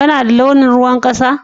Ka na da launin ruwan kasa?